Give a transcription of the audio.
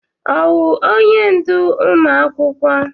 Ọwụ onye ndú ụmụ akwụkwọ?